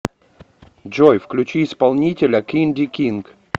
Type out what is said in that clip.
джой включи исполнителя кинди кинг